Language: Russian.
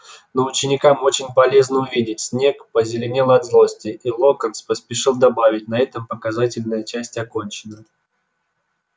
но ученикам очень полезно увидеть снегг позеленел от злости и локонс поспешил добавить на этом показательная часть окончена